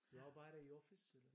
Du arbejder i office eller?